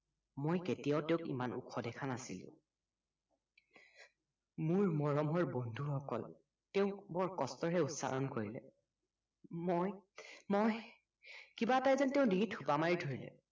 মই কেতিয়াও তেওঁক ইমান ওখ দেখা নাছিলো মোৰ মৰমৰ বন্ধু সকল তেওক হৰ কস্তৰে উচ্চাৰণ কৰিলে মই মই কিবা এটাই যেন তেওঁৰ ডিভিত সোপা মাৰি ধৰিলে